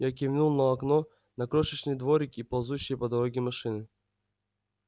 я кивнул на окно на крошечный дворик и ползущие по дороге машины